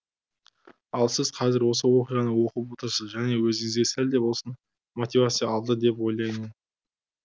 ал сіз қазір осы оқиғаны оқып отырсыз және өзіңізге сәлде болсын мотивация алды деп ойлаймын